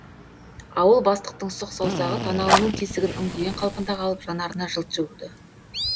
ауыл бастықтың сұқ саусағы танауының тесігін үңгіген қалпында қалып жанарына жылт жүгірді